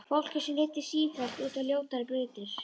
Fólki sem leiddist sífellt út á ljótari brautir.